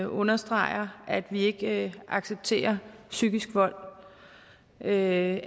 understreger at vi ikke accepterer psykisk vold at